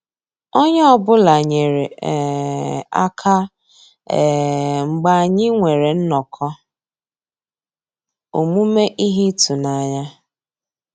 Ónyé ọ́ bụ́là nyéré um àká um mgbeé ànyị́ nwèrè nnọ́kọ́ òmùmé íhé ị́tụ́nányá.